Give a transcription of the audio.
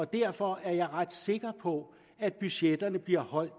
derfor er jeg ret sikker på at budgetterne bliver holdt